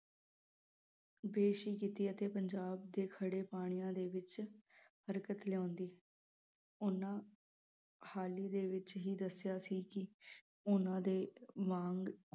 ਹੀ ਕੀਤੀ ਅਤੇ ਪੰਜਾਬ ਦੇ ਖੜੇ ਪਾਣੀਆਂ ਦੇ ਵਿਚ ਹਰਕਤ ਲਿਓਂਦੀ ਓਹਨਾ ਹਾਲੀ ਦੇ ਵਿਚ ਹੀ ਦਸਿਆ ਸੀ ਕੇ ਓਹਨਾ ਦੇ ਵਾਂਗ